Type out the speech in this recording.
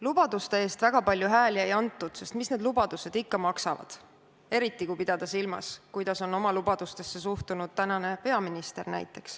Lubaduste eest väga palju hääli ei antud, sest mis need lubadused ikka maksavad – eriti kui pidada silmas, kuidas on oma lubadustesse suhtunud näiteks tänane peaminister.